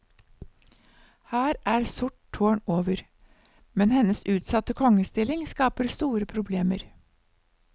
Her er sort tårn over, men hennes utsatte kongestilling skaper store problemer.